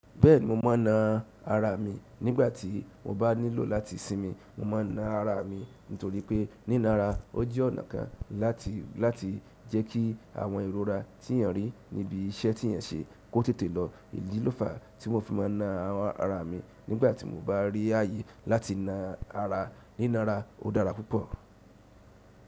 Bẹ́ẹ̀ni mo ma n na ara mi nígbàtí mo bá nílò láti sinmi, mo ma n na ara mi nítorí pé niná ara ó jẹ́ ọ̀nà kan láti, láti jẹ́ kí àwọn ìrora tí èèyàn rí níbi iṣẹ́ tí ẹ̀ ń ṣe kó tètè lọ. Èyí ló fàá tí mo fi ma n na àwọn ara mi nígbàtí mo bá rí ayé láti na ara. Niná ara ó dára púpọ̀.